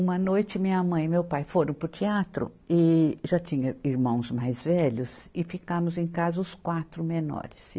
Uma noite minha mãe e meu pai foram para o teatro e já tinha irmãos mais velhos e ficamos em casa os quatro menores.